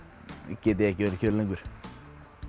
get ég ekki verið kyrr lengur